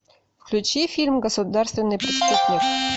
включи фильм государственный преступник